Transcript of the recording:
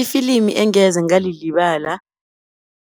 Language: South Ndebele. Ifilimi engeze ngalilibala,